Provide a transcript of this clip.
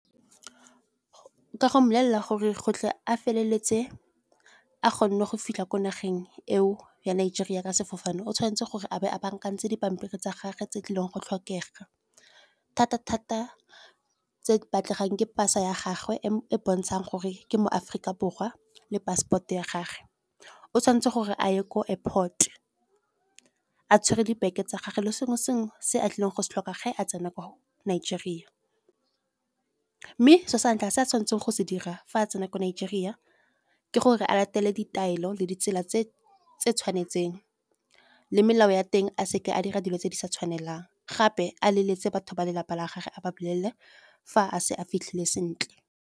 Ke a go mmolelela gore go tle a feleletse a kgonne go fitlha ko nageng eo ya Nigeria ka sefofane. O tshwanetse gore a be a bankantshitse dipampiri tsa gage, tse tlileng go tlhokega thata-thata tse di batlegang ke pasa ya gagwe, e e bontshang gore ke mo Aforika Borwa le passport o ya gagwe. O tshwanetse gore a ye ko airport a tshwere gi-bag tsa gagwe le sengwe le sengwe se a tlileng go se tlhoka ge a tsena ko Nigeria. Mme so sa ntlha se a tshwanetseng go se dira fa a tsena ko Nigeria, ke gore a latela ditaelo le ditsela tse tse tshwanetseng le melao ya teng, a seke a dira dilo tse di sa tshwanelang. Gape a leletse batho ba lelapa la gagwe a ba bolelele fa a se a fitlhile sentle.